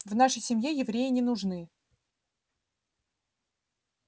в нашей семье евреи не нужны